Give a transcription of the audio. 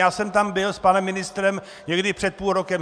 Já jsem tam byl s panem ministrem někdy před půl rokem.